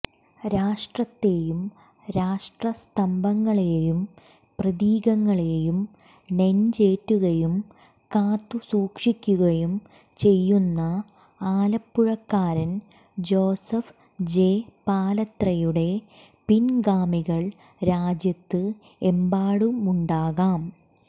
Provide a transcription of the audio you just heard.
രാഷ്ട്രത്തെയും രാഷ്ട്രസ്തംഭങ്ങളെയും പ്രതീകങ്ങളെയും നെഞ്ചേറ്റുകയും കാത്തു സൂക്ഷിക്കുകയും ചെയ്യുന്ന ആലപ്പുഴക്കാരൻ ജോസഫ് ജെ പാലത്രയുടെ പിൻഗാമികൾ രാജ്യത്ത് എമ്പാടുമുണ്ടാകാം